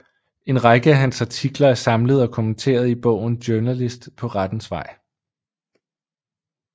En række af hans artikler er samlet og kommenteret i bogen Journalist på rettens vej